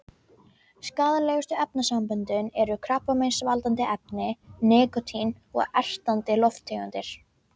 Skaðlegustu efnasamböndin eru: krabbameinsvaldandi efni, nikótín og ertandi lofttegundir.